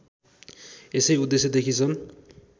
यसै उद्देश्यदेखि सन्